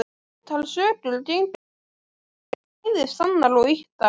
Ótal sögur gengu af honum, bæði sannar og ýktar.